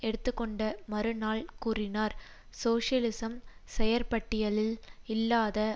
எடுத்து கொண்ட மறுநாள் கூறினார் சோசியலிசம் செயற்பட்டியலில் இல்லாத